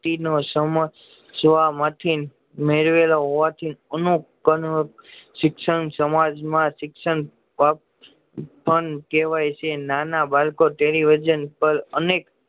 વ્યક્તિ ને સમજવા માંથી મેળવેલો હોવાથી એમૂક વર્ગ શિક્ષણ સમાજ માં શિક્ષણ પણ કેવાય છે નાના બાળકો ટેલીવિશન પર અનેક